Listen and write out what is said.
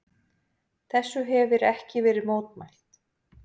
Þessu hefir ekki verið mótmælt.